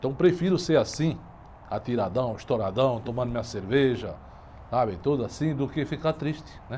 Então eu prefiro ser assim, atiradão, estouradão, tomando minha cerveja, sabe, tudo assim, do que ficar triste, né?